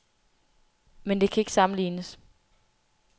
Men det kan ikke sammenlignes.